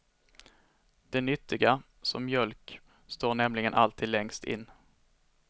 De nyttiga, som mjölk, står nämligen alltid längst in.